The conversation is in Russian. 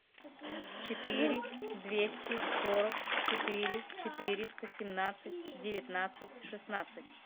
четыре двести сорок четыре четыреста семнадцать девятнадцать шестнадцать